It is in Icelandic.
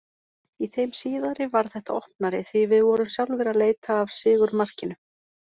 Í þeim síðari varð þetta opnari, því við vorum sjálfir að leita af sigurmarkinu.